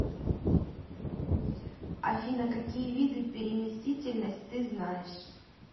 афина какие виды переместительность ты знаешь